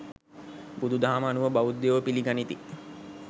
බුදුදහම අනුව බෞද්ධයෝ පිළිගනිති.